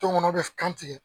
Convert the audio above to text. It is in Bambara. Tɔnkɔnɔ bɛ kantigɛ